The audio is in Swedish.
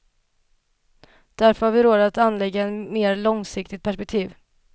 Därför har vi råd att anlägga ett mer långsiktigt perspektiv.